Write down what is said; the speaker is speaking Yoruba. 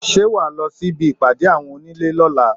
Ṣé wà á lọ sí ibi ìpàdé àwọn onílé lọ́la?